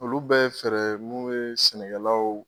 Olu bɛ fɛrɛ mun be sɛnɛkɛlaw